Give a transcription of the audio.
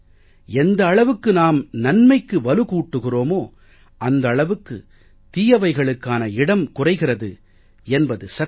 எந்த அளவுக்கு நாம் நன்மைக்கு வலு கூட்டுகிறோமோ அந்த அளவுக்கு தீயவைகளுக்கான இடம் குறைகிறது என்பது சத்தியம்